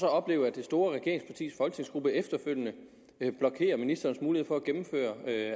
at opleve at det store regeringspartis folketingsgruppe efterfølgende blokerer for ministerens mulighed for at gennemføre